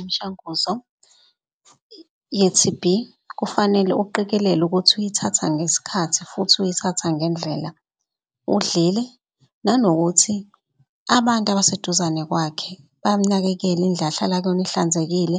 Imshanguzo ye-T_B kufanele uqikelele ukuthi uyithatha ngesikhathi futhi uyithatha ngendlela. Udlile nanokuthi abantu abaseduzane kwakhe bayamnakekela indlu ahlala kuyona ihlanzekile